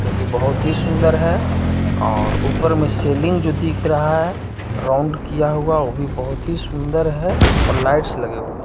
जोकि बहुत ही सुन्दर है और ऊपर मे सीलिंग जो दिख रहा है राउंड किया हुआ वो भी बहोत ही सुन्दर है और लाइट्स लगे हुई हैं।